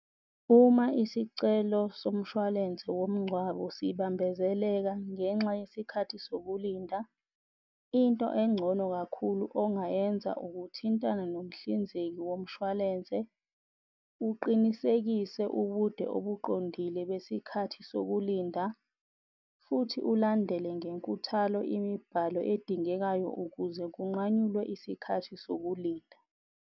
Uma isicelo somshwalense womngcwabo sibambezeleka ngenxa yesikhathi sokulinda, into engcono kakhulu ongayenza ukuthintana nomhlinzeki womshwalense uqinisekise ubude obuqondile besikhathi sokulinda, futhi ulandele ngenkuthalo imibhalo edingekayo ukuze kunqanyulwe isikhathi sokulinda.